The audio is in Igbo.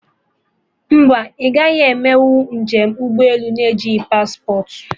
Mba, ị gaghị emenụ njem ụgbọ elu na-ejighị paspportị